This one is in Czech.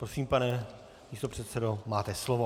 Prosím, pane místopředsedo, máte slovo.